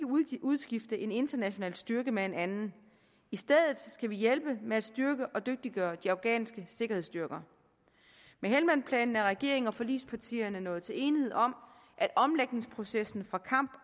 ikke udskifte en international styrke med en anden i stedet skal vi hjælpe med at styrke og dygtiggøre de afghanske sikkerhedsstyrker med helmandplanen er regeringen og forligspartierne nået til enighed om at omlægningsprocessen fra kamp